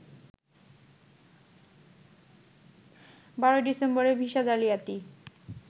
১২ ডিসেম্বরে ভিসা জালিয়াতি